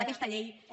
d’aquesta llei i